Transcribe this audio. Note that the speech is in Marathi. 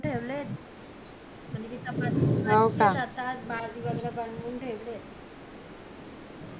ठेवलेत म्हणजे चपाती भाजी भाजी वैगेरे बनवून ठेवलेत